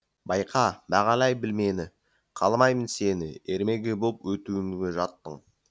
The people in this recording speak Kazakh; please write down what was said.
байқа бағалай біл мені қаламаймын сені ермегі болып өтуіңді жаттың